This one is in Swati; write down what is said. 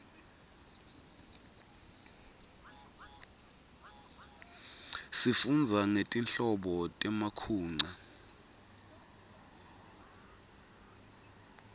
sifundza ngetinhlobo temakhunqa